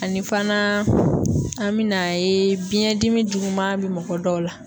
Ani fana an be na ye biyɛn dimi juguman be mɔgɔ dɔw la